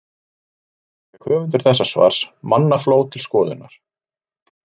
Fyrir skömmu fékk höfundur þessa svars mannafló til skoðunar.